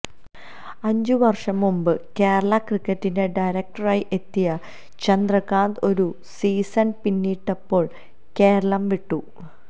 അഞ്ചുവര്ഷംമുമ്പ് കേരള ക്രിക്കറ്റിന്റെ ഡയറക്ടറായി എത്തിയ ചന്ദ്രകാന്ത് ഒരു സീസണ് പിന്നിട്ടപ്പോള് കേരളം വിട്ടു